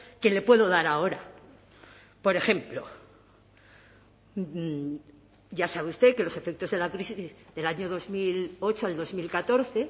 que le puedo dar ahora por ejemplo ya sabe usted que los efectos de la crisis del año dos mil ocho al dos mil catorce